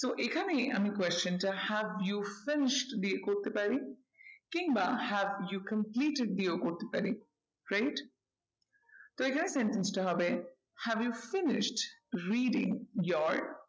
তো এখানে আমি question টা have you finished দিয়ে করতে পারি। কিংবা have you completed দিয়েও করতে পারি right? তো এখানে have you finished reading your টা হবে